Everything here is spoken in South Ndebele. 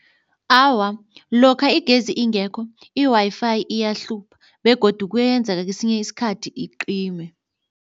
Awa, lokha igezi ingekho i-Wi-Fi iyahlupha begodu kuyenzeka kesinye isikhathi icime.